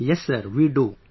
Yes Sir, we do